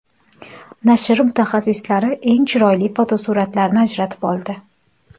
Nashr mutaxassislari eng chiroyli fotosuratlarni ajratib oldi.